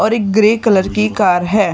और एक grey colour की कार है।